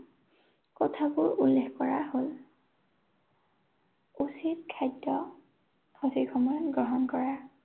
কথাবোৰ উল্লেখ কৰা হ'ল। উচিত খাদ্য সঠিক সময়ত গ্ৰহণ কৰা।